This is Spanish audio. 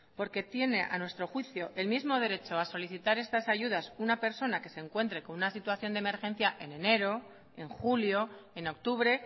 porque tiene a nuestro juicio el mismo derecho a solicitar estas ayudas una persona que se encuentre con una situación de emergencia en enero en julio en octubre